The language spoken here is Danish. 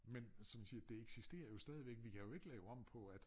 Men som jeg siger det eksisterer jo stadigvæk vi kan jo ikke lave om på at